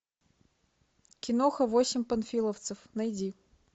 киноха восемь панфиловцев найди